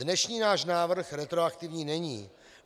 Dnešní náš návrh retroaktivní není.